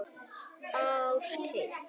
Áskell